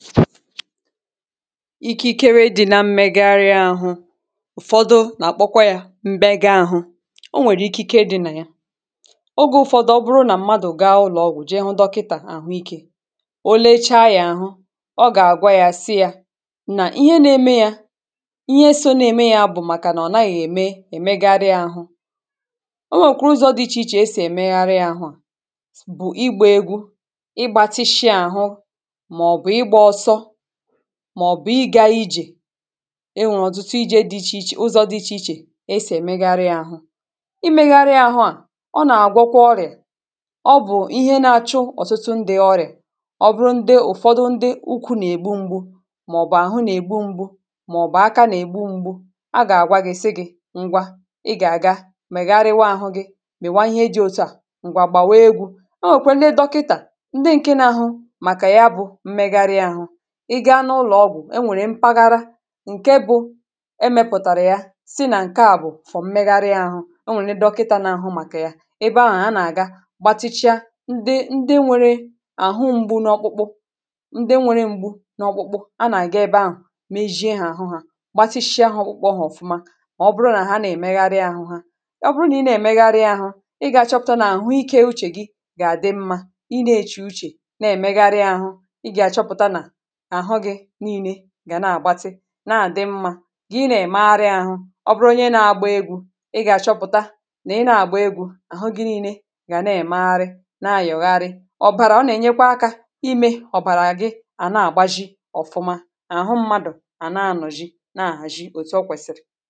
ikeikere di̇ na mmegharị ahụ ụ̀fọdụ na-akpọkwa ya m̀be gị àhụ o nwèrè ike di̇ nà ya ogė ụ̀fọdụ ọ bụrụ nà mmadụ̀ gịa ụlọ̀ọgwụ̀ jee hụ dọkịtà àhụ ikė òlecha ya àhụ ọ gà-àgwa ya si yȧ nà ihe na-eme yȧ ihe so na-eme ya bụ̀ màkà nà ọ̀ naghị̇ ème èmegharịa àhụ o nwèkwàrụ ụzọ̇ dị ichè ichè esì èmegharịa àhụ bụ̀ ịgbȧ egwu ịgbȧtishi àhụ màọ̀bụ̀ ịgȧ ijè enwè ọ̀tụtụ ijė dị ichè ichè ụzọ̇ dị ichè ichè esè megharịa àhụ imėgharịa àhụ à ọ nà-àgwọkwa ọrịà ọ bụ̀ ihe na-achụ ọ̀tụtụ ndị̇ ọrịà ọ bụrụ ndị ụ̀fọdụ ndị ukwu̇ nà-ègbu mgbu màọ̀bụ̀ àhụ nà-ègbu mgbu̇ màọ̀bụ̀ aka nà-ègbu mgbu̇ a gà-àgwa gị̀ sị gị̇ ngwa ị gà-àga megharịwaa ahụ̇ gị mèwa ihe e jì otu à ngwà gbàwee egwu̇ o wèkwe lee dọkịtà ndị ǹke n'ahụ̇ màkà ya bụ̇ mmegharị àhụ ị gaa n’ụlọ̀ ọgwụ̀, enwèrè mpaghara ǹke bụ̇ emepụ̀tàrà ya si nà ǹke à bụ̀ fọ̀ mmegharị ahụ̇ o nwèrè nà-edokita n’àhụ màkà ya ebe ahụ̀ a nà-àga gbatịchaa ndị ndị nwere àhụ mgbu n’ọkpụkpụ ndị nwere mgbu n’ọkpụkpụ a nà-àga ebe ahụ̀ mejie hȧ àhụ hȧ gbatịshịa ahụ̇ kpọkpọ hȧ ọ̀fụma ọ bụrụ nà ha nà-emegharị ahụ̇ ha ọ bụrụ nà ị na-èmegharị ahụ̇ ị gà-àchọpụ̀ta n’àhụ ike uchè gị gà-àdị mmȧ ị na-eche uchè na-èmegharị ahụ̇ ị gà-àchọpụ̀ta nà na-àgbatị na-àdị mmȧ gị nà ị̀màgharị àhụ ọbụrụnye na-agba egwu̇ ị gà-àchọpụ̀ta nà ị na-àgba egwu̇ àhụ gị nii̇nė gà na-èmegharị na-àyọgharị ọ̀bàrà ọ nà-ènyekwa aka imė ọ̀bàrà gị à na-àgba ji ọ̀fụma àhụ mmadụ̀ à na-anọ̀ ji na-àhàji òtù ọ kwèsị̀rị̀